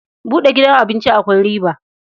Buɗe gidan abinci akwai riba.